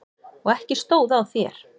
Og ekki stóð á þér!